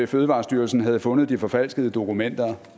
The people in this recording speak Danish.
fødevarestyrelsen havde fundet de forfalskede dokumenter